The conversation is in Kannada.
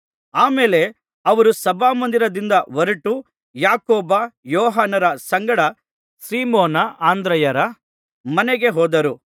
ಆ ಮೇಲೆ ಅವರು ಸಭಾಮಂದಿರದಿಂದ ಹೊರಟು ಯಾಕೋಬ ಯೋಹಾನರ ಸಂಗಡ ಸೀಮೋನ ಅಂದ್ರೆಯರ ಮನೆಗೆ ಹೋದರು